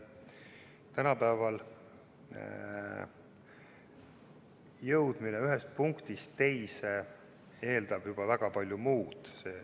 Tänapäeval jõudmine ühest punktist teise eeldab juba väga palju muud.